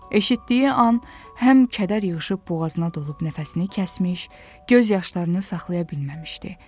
Eşitdiyi an həm kədər yığışıb boğazına dolub nəfəsini kəsmiş, göz yaşlarını saxlaya bilməmişdi.